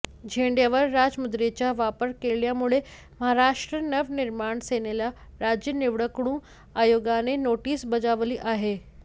झेंड्यावर राजमुद्रेचा वापर केल्यामुळे महाराष्ट्र नवनिर्माण सेनेला राज्य निवडणूक आयोगाने नोटीस बजावली आहे